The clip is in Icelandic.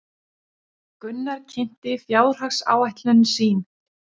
Gunnar kynnti fjárhagsáætlun sín